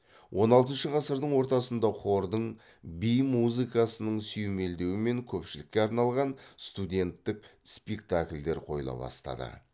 он алтыншы ғасырдың ортасында хордың би музыкасының сүйемелдеуімен көпшілікке арналған студенттік спектакльдер қойыла бастады